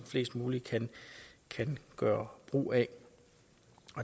muligt kan gøre brug af